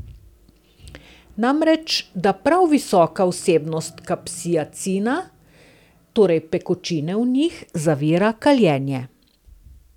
Namreč, da prav visoka vsebnost kapsaicina, torej pekočine v njih, zavira kaljenje.